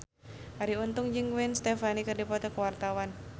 Arie Untung jeung Gwen Stefani keur dipoto ku wartawan